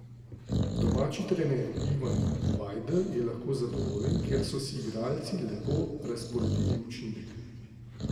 Domači trener Ivan Vajdl je lahko zadovoljen, ker so si igralci lepo razporedili učinek.